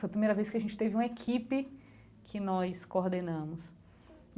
Foi a primeira vez que a gente teve uma equipe que nós coordenamos.